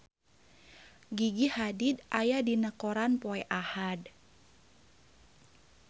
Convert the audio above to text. Gigi Hadid aya dina koran poe Ahad